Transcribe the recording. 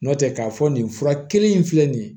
N nɔtɛ k'a fɔ nin fura kelen in filɛ nin ye